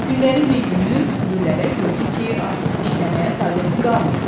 Günlərin bir günü Kudu Lələ gördü ki, artıq işləməyə taqəti qalmayıb.